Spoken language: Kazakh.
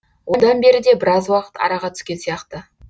одан бері де біраз уақыт араға түскен сияқты